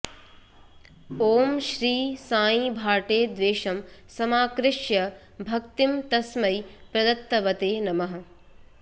ॐ श्री साई भाटे द्वेषं समाकृष्य भक्तिं तस्मै प्रदत्तवते नमः